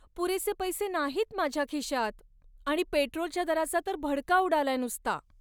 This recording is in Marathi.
पुरेसे पैसे नाहीत माझ्या खिशात आणि पेट्रोलच्या दराचा तर भडका उडालाय नुसता.